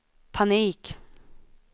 panik